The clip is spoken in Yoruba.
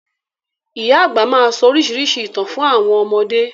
Màmá àgbà máa sọ oríṣiríṣi ìtàn fún àwọn ọmọdé.